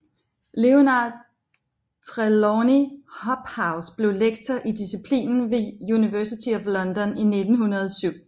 Leonard Trelawny Hobhouse blev lektor i disciplinen ved University of London i 1907